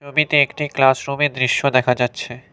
একটি ক্লাসরুমের দৃশ্য দেখা যাচ্ছে।